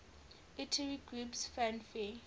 utari groups fanfare